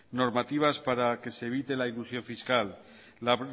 normativas para que se evite la elusión fiscal la